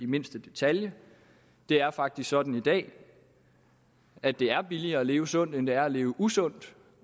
mindste detalje det er faktisk sådan i dag at det er billigere at leve sundt end det er at leve usundt